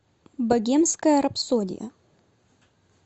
богемская рапсодия